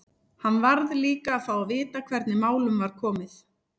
Hann varð líka að fá að vita hvernig málum var komið.